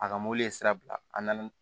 A ka mɔbili sira bila an na